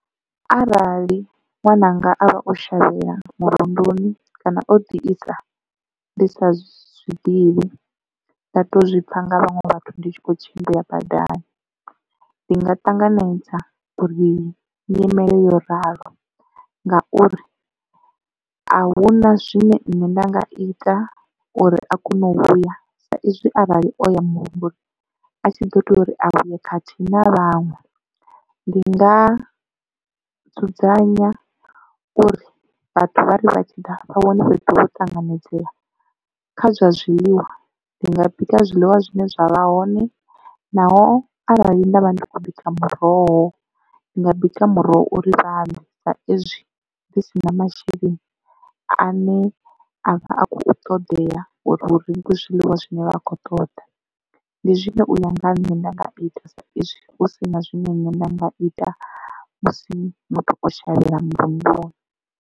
Arali ṅwananga avha o shavhela murunduni kana o ḓi isa ndi sa zwiḓivhi nda to zwi pfha nga vhaṅwe vhathu ndi tshi kho tshimbila badani ndi nga ṱanganedza uri nyimele yo ralo ngauri a huna zwine nṋe nda nga ita uri a kone u vhuya sa izwi arali o ya murunduni a tshi ḓo tea uri a vhuye khathihi na vhaṅwe. Ndi nga dzudzanya uri vhathu vha ri vha tshi ḓa vha vhone fhethu vho ṱanganedzea kha zwa zwiḽiwa ndi nga bika zwiḽiwa zwine zwavha hone naho arali ndavha ndi kho bika muroho ndi nga bika muroho uri vha ḽe sa ezwi ndi si na masheleni ane avha a kho ṱoḓea uri hu rengwe zwiḽiwa zwine vha khou ṱoḓa. Ndi zwine uya nga ha nṋe nda nga ita saizwi hu si na zwine nṋe nda nga ita musi muthu o shavhela murunduni.